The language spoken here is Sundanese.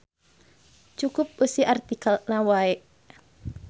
Cukup eusi artikelna wae.